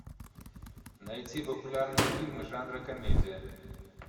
найти популярные фильмы жанра комедия